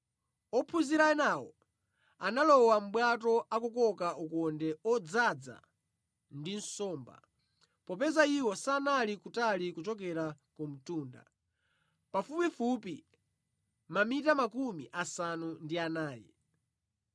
Ophunzira enawo analowa mʼbwato akukoka ukonde odzaza ndi nsomba, popeza iwo sanali kutali kuchokera ku mtunda, pafupifupi mamita makumi asanu ndi anayi.